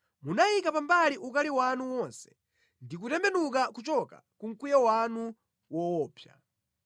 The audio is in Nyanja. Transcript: Munayika pambali ukali wanu wonse ndi kutembenuka kuchoka ku mkwiyo wanu woopsa.